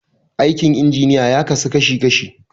Aikin injiniya ya kasu kashi kashi.